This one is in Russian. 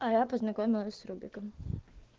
а я познакомилась с пробегом